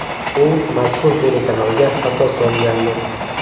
U mazkur telekanalga asos solgandi.